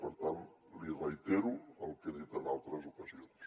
per tant li reitero el que he dit en altres ocasions